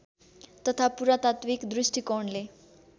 तथा पुरातात्विक दृष्टिकोणले